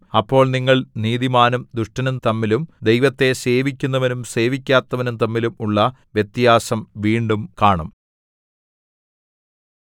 അപ്പോൾ നിങ്ങൾ നീതിമാനും ദുഷ്ടനും തമ്മിലും ദൈവത്തെ സേവിക്കുന്നവനും സേവിക്കാത്തവനും തമ്മിലും ഉള്ള വ്യത്യാസം വീണ്ടും കാണും